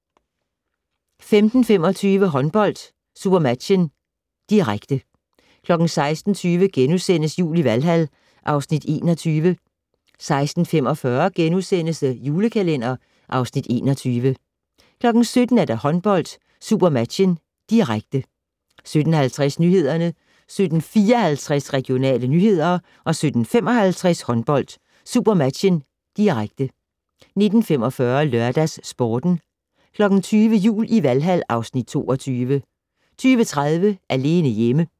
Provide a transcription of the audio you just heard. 15:25: Håndbold: SuperMatchen, direkte 16:20: Jul i Valhal (Afs. 21)* 16:45: The Julekalender (Afs. 21)* 17:00: Håndbold: SuperMatchen, direkte 17:50: Nyhederne 17:54: Regionale nyheder 17:55: Håndbold: SuperMatchen, direkte 19:45: LørdagsSporten 20:00: Jul i Valhal (Afs. 22) 20:30: Alene hjemme